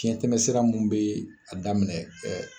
Fiɲɛtɛmɛsira minnu bɛ a daminɛ